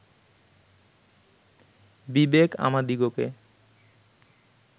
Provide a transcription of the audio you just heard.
বিবেক আমাদিগকে